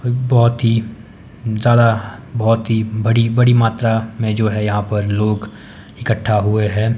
बहोत ही ज्यादा बहोत ही बड़ी बड़ी मात्रा में जो है यहां पर लोग इकट्ठा हुए हैं।